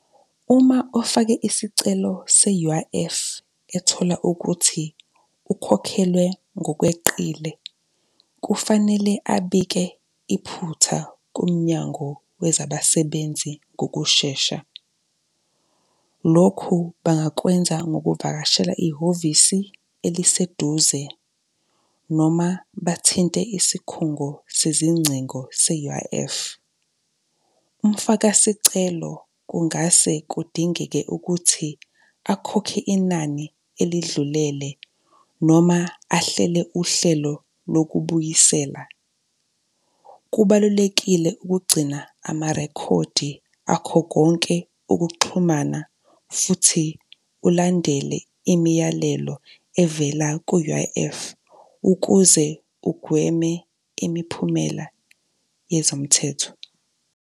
Uma afake isicelo se-U_I_F ethola ukuthi ukhokhelwe ngokweqile, kufanele abike iphutha komnyango wezabasebenzi ngokushesha. Lokhu bangakwenza ngokuvakashela ihhovisi eliseduze noma bathinte isikhungo sezingcingo se-U_I_F. Umfakasicelo kungase kudingeke ukuthi akhokhe inani elidlulele noma ahlele uhlelo lokubuyisela. Kubalulekile ukugcina ama-record akho konke ukuxhumana futhi ulandele imiyalelo evela ku-U_I_F ukuze ugweme imiphumela yezomthetho.